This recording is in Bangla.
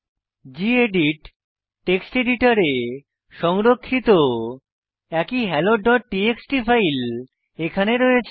গেদিত টেক্সট এডিটরে সংরক্ষিত একই হেলো ডট টিএক্সটি ফাইল এখানে রয়েছে